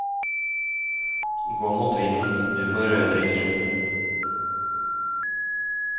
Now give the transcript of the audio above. Gå mot vinden, du får rødere kinn.